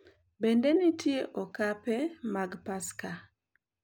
Bende nitie okape mag Paska: